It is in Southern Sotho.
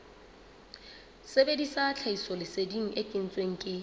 sebedisa tlhahisoleseding e kentsweng ke